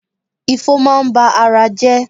Ifo máa ń ba ara jẹ́.